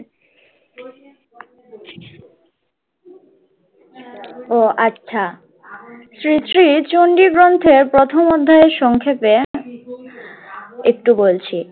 ও আচ্ছা শ্রী শ্রী চণ্ডী গ্রন্থের প্রথম অধ্যায়ের সংক্ষেপে একটু বলছি।